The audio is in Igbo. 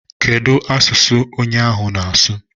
Kedụ asụsụ onye ahụ na-asụ?